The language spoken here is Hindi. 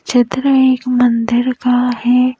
चित्र एक मंदिर का है ।